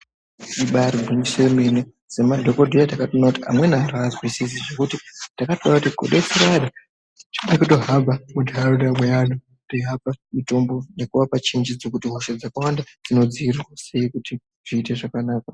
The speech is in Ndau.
Ibairi gwinyiso yemene se madhokodheya takatoona kuti amweni antu ha anzwisisi zvekuti takatona ku detsera anhu ngeme kuto hamba mu ndaraunda me anhu tei apa mutombo neku apa chinjidzo hosha dzakawanda dzino dzivirirwa sei kuti zviite zvakanaka.